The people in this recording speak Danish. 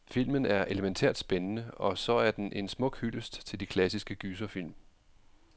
Filmen er elemæntært spændende, og så er den en smuk hyldest til de klassiske gyserfilm.